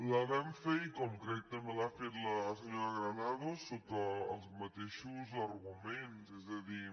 la vam fer i com crec que també l’ha feta la senyora granados sota els mateixos arguments és a dir